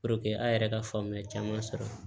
an yɛrɛ ka faamuyali caman sɔrɔ